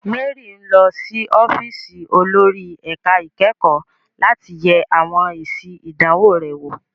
Mary ń lọ sí ọ́fíìsì olórí ẹ̀ka ìkẹ́kọ̀ọ́ láti yẹ àwọn èsì ìdánwò rẹ̀ wò.